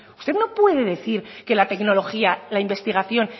usted no puede decir que la tecnología la investigación